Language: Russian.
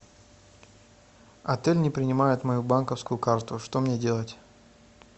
отель не принимает мою банковскую карту что мне делать